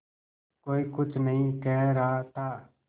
कोई कुछ नहीं कह रहा था